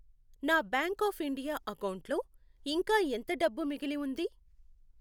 నా bank of India అకౌంటులో ఇంకా ఎంత డబ్బు మిగిలి ఉంది?